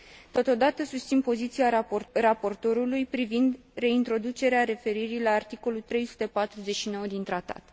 Totodată, susțin poziția raportorului privind reintroducerea referirii la articolul 349 din Tratat.